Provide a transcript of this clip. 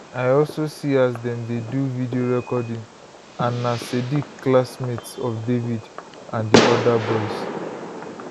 i also see as dem dey do video recording and na sadiq classmate of david and di oda boys